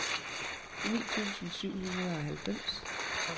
ni tusind syv hundrede og halvfems